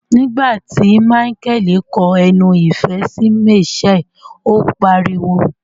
Nigbati Michael ko ẹnu ìfẹ sí Mitchell, o pariwo.